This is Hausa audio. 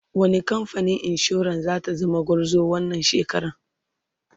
wani kamfanin insura zata zama gwarzo wannan shekaran?